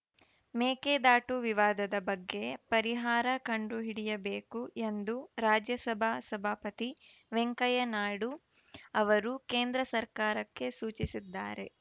ಮೇಕೆದಾಟು ವಿವಾದದ ಬಗ್ಗೆ ಪರಿಹಾರ ಕಂಡುಹಿಡಿಯಬೇಕು ಎಂದು ರಾಜ್ಯಸಭಾ ಸಭಾಪತಿ ವೆಂಕಯ್ಯ ನಾಯ್ಡು ಅವರು ಕೇಂದ್ರ ಸರ್ಕಾರಕ್ಕೆ ಸೂಚಿಸಿದ್ದಾರೆ